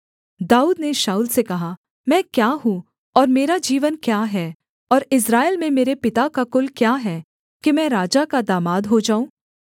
दाऊद ने शाऊल से कहा मैं क्या हूँ और मेरा जीवन क्या है और इस्राएल में मेरे पिता का कुल क्या है कि मैं राजा का दामाद हो जाऊँ